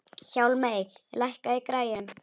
Hjálmey, lækkaðu í græjunum.